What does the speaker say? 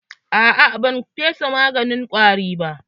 A'a, ban fesa maganin ƙwarin ba.